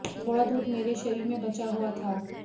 थोड़ा दूध मेरे शरीर में बचा हुआ था